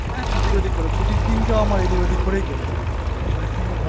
হ্যাঁ এদিক ওদিক করে ছুটির দিনটা আমার এদিক ওদিক করেই